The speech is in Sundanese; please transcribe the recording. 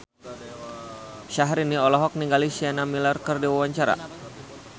Syahrini olohok ningali Sienna Miller keur diwawancara